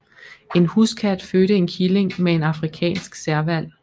En huskat fødte en killing med en afrikansk serval